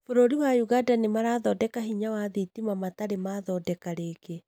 Bũrũri wa ũganda nĩmarathondeka hinya wa thitima matarĩ mathondeka rĩngĩ